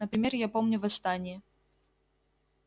например я помню восстание